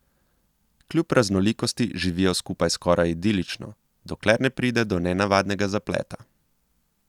Kljub raznolikosti živijo skupaj skoraj idilično, dokler ne pride do nenavadnega zapleta.